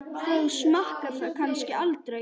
Þú smakkar það kannski aldrei?